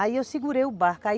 Aí eu segurei o barco, aí